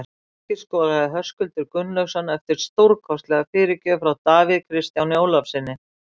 Markið skoraði Höskuldur Gunnlaugsson eftir stórkostlega fyrirgjöf frá Davíð Kristjáni Ólafssyni.